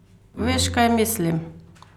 Veš, kaj mislim?